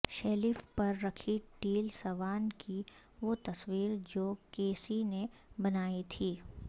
shelf پر رکھی Teal Swan کی وہ تصویر جو کیسی نے بنائی تھی